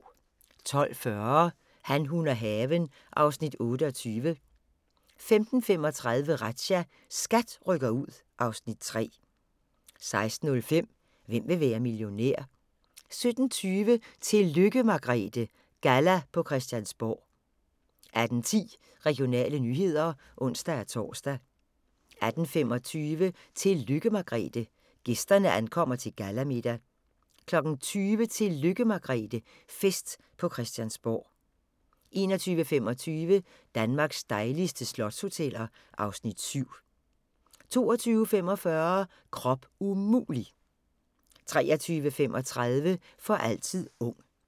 12:40: Han, hun og haven (Afs. 28) 15:35: Razzia – SKAT rykker ud (Afs. 3) 16:05: Hvem vil være millionær? 17:20: Tillykke Margrethe – galla på Christiansborg 18:10: Regionale nyheder (ons-tor) 18:25: Tillykke Margrethe – gæsterne ankommer til gallamiddag 20:00: Tillykke Margrethe - fest på Christiansborg 21:25: Danmarks dejligste slotshoteller (Afs. 7) 22:45: Krop umulig! 23:35: For altid ung